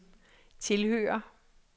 tilhører